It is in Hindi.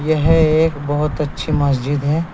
यह एक बहोत अच्छी मस्जिद है।